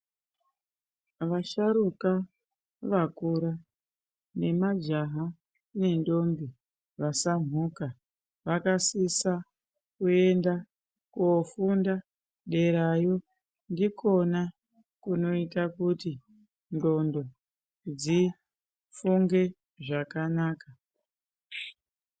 Vasharuka vakura nemajaha nendombi vasamhuka vakasisa kuenda kofunda derayo ndikona kunoita kutindhlondo dzifunge zvakanaka.